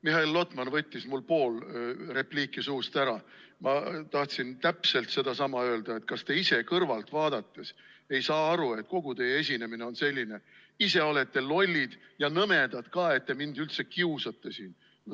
Mihhail Lotman võttis mul pool repliiki suust ära, ma tahtsin täpselt sedasama öelda, et kas te ise kõrvalt vaadates ei saa aru, et kogu teie esinemine on selline: ise olete lollid ja nõmedad ka, et te mind üldse kiusate!